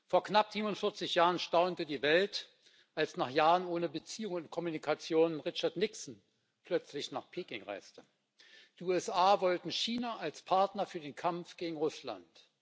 Vor knapp 47 Jahren staunte die Welt, als nach Jahren ohne Beziehungen und Kommunikation Richard Nixon plötzlich nach Peking reiste. Die USA wollten China als Partner für den Kampf gegen Russland.